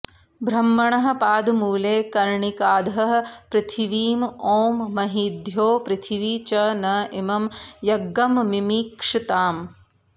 ब्रह्मणः पादमूले कर्णिकाधः पृथिवीम् ओं महीद्यौः पृथिवी च न इमं यज्ञम्मिमिक्षताम्